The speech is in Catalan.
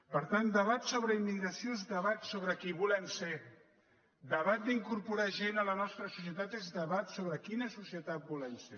per tant debat sobre immigració és debat sobre qui volem ser debat d’incorporar gent a la nostra societat és debat sobre quina societat volem ser